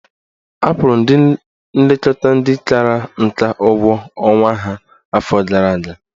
Akwụrụ ndị nlekọta ndị kara nka ụgwọ ọnwa ha afọ gara aga.